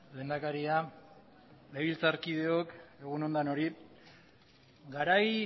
lehendakaria legebiltzarkideok egun on denoi garai